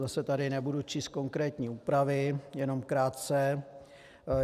Zase tady nebudu číst konkrétní úpravy, jenom krátce.